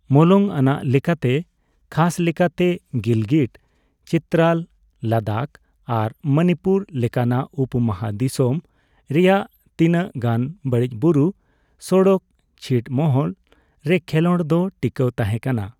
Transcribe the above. ᱢᱚᱞᱚᱝ ᱟᱱᱟᱜ ᱞᱮᱠᱟᱛᱮ, ᱠᱷᱟᱥ ᱞᱮᱠᱟᱛᱮ ᱜᱤᱞᱜᱤᱴ, ᱪᱤᱛᱨᱟᱞ, ᱞᱟᱫᱟᱠᱷ ᱟᱨ ᱢᱚᱱᱤᱯᱩᱨ ᱞᱮᱠᱟᱱᱟᱜ ᱩᱯᱚᱼᱢᱟᱦᱟᱫᱤᱥᱚᱢ ᱨᱮᱭᱟᱜ ᱛᱤᱱᱟᱹᱜ ᱜᱟᱱ ᱵᱟᱹᱲᱤᱡ ᱵᱩᱨᱩ ᱥᱚᱲᱚᱠ ᱪᱷᱤᱴᱢᱚᱦᱚᱞ ᱨᱮ ᱠᱷᱮᱞᱚᱸᱰ ᱫᱚ ᱴᱤᱠᱟᱹᱣ ᱛᱟᱦᱮᱸᱠᱟᱱᱟ ᱾